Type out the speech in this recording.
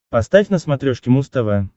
поставь на смотрешке муз тв